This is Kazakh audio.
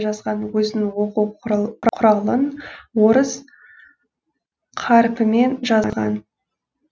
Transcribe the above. жазған өзінің оқу құралын орыс қарпімен жазған